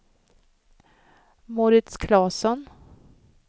Mauritz Claesson